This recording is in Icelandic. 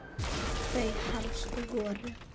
Þau helstu voru